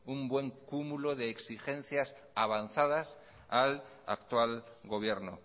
un buen cúmulo de exigencias avanzadas al actual gobierno